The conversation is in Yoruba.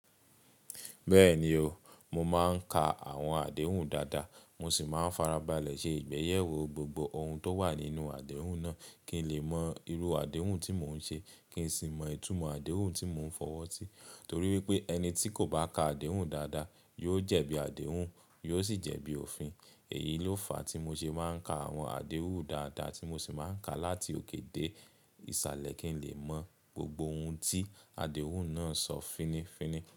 Bẹ́ẹ̀ni o, mo máa ń ka àwọn àdéhùn dáadáa, mo sì máa ń farabalẹ̀ ṣe ìgbéyewó gbogbo ohun tó wà nínú àdéhùn náà kí n lè mọ irú àdéhùn tí mò ń ṣe kí n sì mọ ìtumọ̀ àdéhùn tí mò ń fọwọ́ sí. Torí wípé ẹni tí kò bá ka àdéhùn dáadáa, yóò jẹ̀bi àdéhùn, yóò sì jẹ̀bi òfin. Èyí ló fa tí mo ṣe máa ń ka àwọn àdéhùn dáadáa tí mo sì máa ń ka láti òkè dé ìsàlẹ̀ kí n lè mọ gbogbo ohun tí àdéhùn náà sọ fínnífínní.